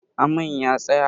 Amain ya tsaya?